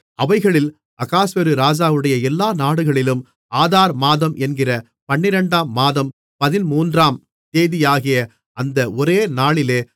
அவைகளில் அகாஸ்வேரு ராஜாவுடைய எல்லா நாடுகளிலும் ஆதார் மாதம் என்கிற பன்னிரண்டாம் மாதம் பதின்மூன்றாம் தேதியாகிய அந்த ஒரே நாளிலே